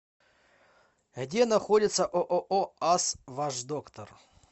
где находится ооо ас ваш доктор